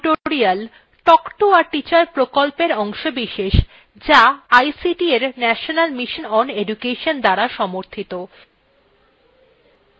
spoken tutorials talk to a teacher প্রকল্পের অংশবিশেষ যা ict এর national mission on education দ্বারা সমর্থিত